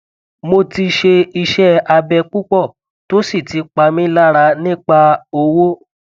mo ti ṣe iṣẹ abẹ pupọ to si ti pa mi lara nipa owo